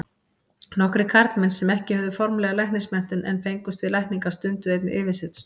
Nokkrir karlmenn sem ekki höfðu formlega læknismenntun en fengust við lækningar, stunduðu einnig yfirsetustörf.